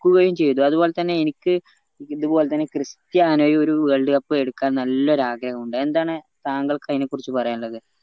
കുകയും ചെയ്തു അതുപോലെ തന്നെ എനിക്ക് ഇതുപോലെ തന്നെ ക്രിസ്ത്യാനോയും ഒരു world cup എടുക്കാൻ നല്ല ഒരു ആഗ്രഹം ഉണ്ട് എന്താണ് താങ്കൾക്ക് അയിന കുറിച്ച് പറയാനിള്ളത്